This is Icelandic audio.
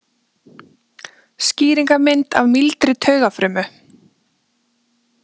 Skýringarmynd af mýldri taugafrumu.